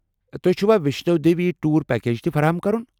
تہٕ توہہِ چُھوا ویشنو دیوی ٹور پیکج تہِ فراہم کرُن ؟